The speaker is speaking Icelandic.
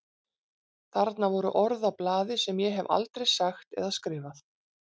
Þarna voru orð á blaði sem ég hef aldrei sagt eða skrifað.